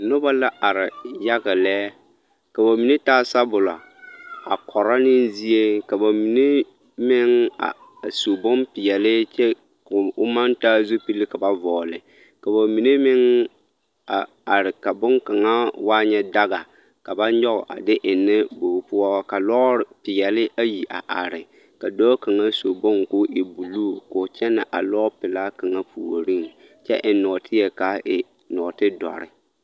Noba la are yaga lɛ, ka bamine taa sabolo a kɔrɔ ne zie ka bamine meŋ a su bompeɛle kyɛ ko o maŋ taa zupili ka ba vɔgele ka bamine meŋ a are ka boŋkaŋa waa nyɛ daga ka ba nyɔge a de ennɛ bogi poɔ ka lɔɔre peɛle ayi a are ka dɔɔ kaŋa su bone k'o e buluu k'o kyɛnɛ a lɔɔpelaa kaŋa puoriŋ kyɛ eŋ nɔɔteɛ k'a e nɔɔte dɔre.